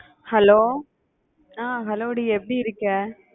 hello அஹ் hello டி எப்படி இருக்க?